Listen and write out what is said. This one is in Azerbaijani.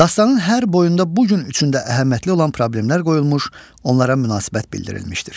Dastanın hər boyunda bu gün üçün də əhəmiyyətli olan problemlər qoyulmuş, onlara münasibət bildirilmişdir.